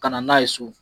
Ka na n'a ye so